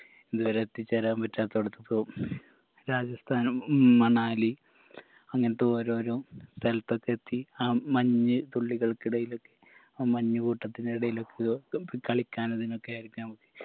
ഇത് വരെ എത്തിചേരാൻ പറ്റാത്തടത്ത് പോ രാജസ്ഥാനും ഉം മണാലി അങ്ങൻത്തെ ഓരോരോ സ്ഥലത്തൊക്കെ എത്തി ആ മഞ്ഞ് തുള്ളികൾക്കിടയിലെത്തി ആ മഞ്ഞ് കൂട്ടത്തിനിടയിലേക്കൊക്കെ കളിക്കാനും ഇതിനൊക്കെ